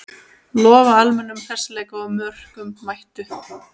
Lofa almennum hressleika og mörkum, mættu!